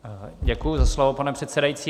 Děkuji za slovo, pane předsedající.